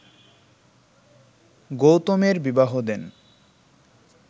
গৌতমের বিবাহ দেন